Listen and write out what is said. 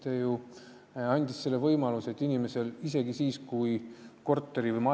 Korteri- või majaomanik, kellelt inimene pinda üürib, ei ole olnud nõus seda elukohaandmete kannet tegema.